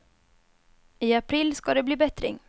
I april ska det bli bättring.